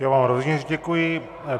Já vám rovněž děkuji.